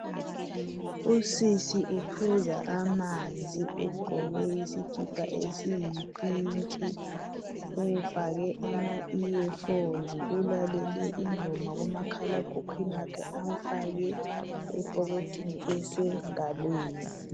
usisi uphuza amanzi ugqoke isikipa esiyipink ufake ama ear phones ulalele ingoma kumakhla ekhukhwini uyifake esikhwameni esisengalweni